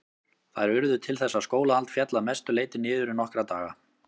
Þær urðu til þess að skólahald féll að mestu leyti niður í nokkra daga.